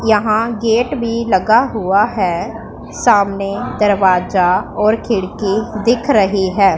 यहां गेट भी लगा हुआ है सामने दरवाजा और खिड़की दिख रही है।